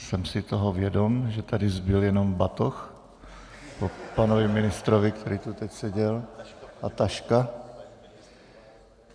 Jsem si toho vědom, že tady zbyl jenom batoh po panu ministrovi , který tu teď seděl, a taška .